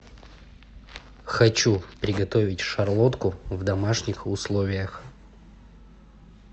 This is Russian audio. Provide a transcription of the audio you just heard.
хочу приготовить шарлотку в домашних условиях